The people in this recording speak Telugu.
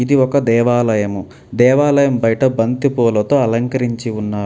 ఇది ఒక దేవాలయము. దేవాలయం బయట బంతిపూలతో అలంకరించి ఉన్నారు.